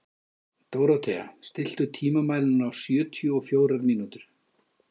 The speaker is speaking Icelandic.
Dórothea, stilltu tímamælinn á sjötíu og fjórar mínútur.